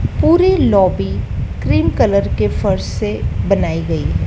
पूरी lobby cream colour के फर्श से बनाई गई है।